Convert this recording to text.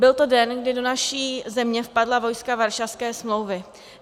Byl to den, kdy do naší země vpadla vojska Varšavské smlouvy.